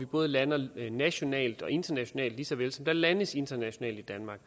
både lander nationalt og internationalt lige så vel som der landes internationalt i danmark